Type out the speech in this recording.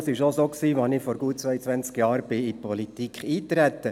Das war auch so, als ich vor gut zweiundzwanzig Jahren in die Politik einstieg.